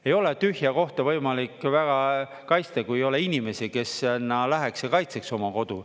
Ei ole tühja kohta võimalik väga kaitsta, kui ei ole inimesi, kes sinna läheks ja kaitseks oma kodu.